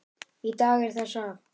Í dag er það safn.